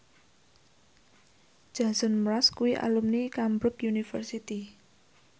Jason Mraz kuwi alumni Cambridge University